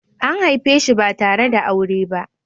An haife shi ba tare da aure ba.